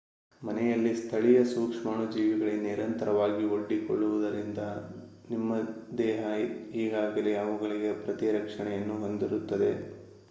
ಮನೆಯಲ್ಲಿ ಸ್ಥಳೀಯ ಸೂಕ್ಷ್ಮಾಣುಜೀವಿಗಳಿಗೆ ನಿರಂತರವಾಗಿ ಒಡ್ಡಿಕೊಳ್ಳುವುದರಿಂದ ನಿಮ್ಮ ದೇಹ ಈಗಾಗಲೇ ಅವುಗಳಿಗೆ ಪ್ರತಿರಕ್ಷೆಯನ್ನು ಹೊಂದಿರುತ್ತದೆ